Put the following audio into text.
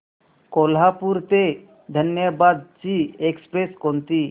कोल्हापूर ते धनबाद ची एक्स्प्रेस कोणती